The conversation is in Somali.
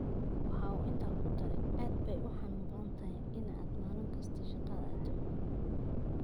Waxa uu intaa ku daray, “Aad bay u xanuun badnayd in aad maalin kasta shaqada aado.